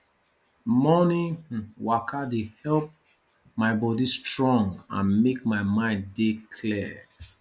morning um waka dey help my body strong and make my mind dey clear